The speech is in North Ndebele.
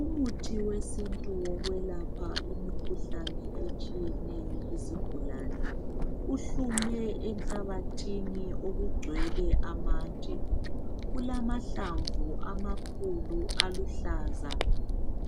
Umuthi wesintu wokwelapha imikhuhlane etshiyeneyo kuzigulane uhlume enhlabathini okugcwele amatshe. Ulamahlamvu amakhulu aluhlaza.